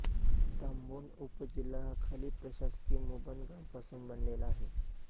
तांबोन उपजिल्हा हा खालील प्रशासकीय मुबन गाव पासून बनलेला आहे